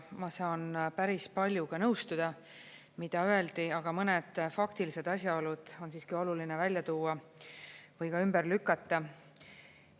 Ma saan päris paljuga nõustuda, mida öeldi, aga mõned faktilised asjaolud on siiski oluline välja tuua või ka ümber lükata.